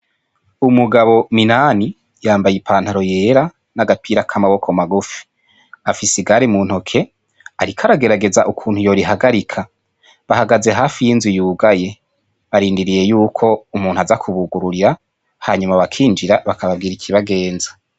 Umugabo minani yambaye ipantaro y'era n'agapira k'amaboko magufi, afise igare mu ntoke ariko aragerageza ukuntu yo rihagarika, bahagaze hafi y'inzu yugaye barindiriye yuko umuntu aza kubugurira hanyuma bakinjira bakababwira ikibagenza.